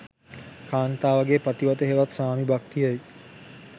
කාන්තාවගේ පතිවත හෙවත් ස්වාමි භක්තිය යි